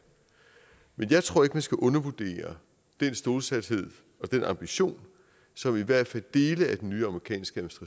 men jeg tror ikke at man skal undervurdere den stålsathed og den ambition som i hvert fald dele af den nye amerikanske